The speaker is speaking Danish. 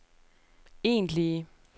egentlige